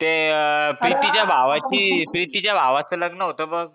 ते अं प्रीतीच्या भावाची प्रीतीच्या भावाचं लग्न होतं बघ